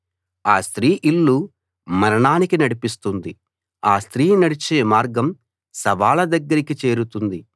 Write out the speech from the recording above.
ఆ స్త్రీ ఇల్లు మరణానికి నడిపిస్తుంది ఆ స్త్రీ నడిచే మార్గం శవాల దగ్గరికి చేరుతుంది